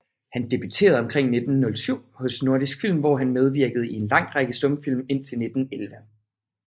Han debuterede omkring 1907 hos Nordisk Film hvor han medvirkede i en lang række stumfilm indtil 1911